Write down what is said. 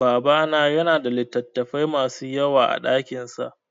Babana ya na da littattafai ma su yawa a dakinsa